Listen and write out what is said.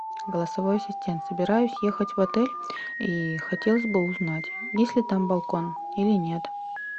голосовой ассистент собираюсь ехать в отель и хотелось бы узнать есть ли там балкон или нет